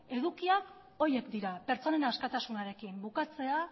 edukiak horiek dira pertsonen askatasunarekin bukatzea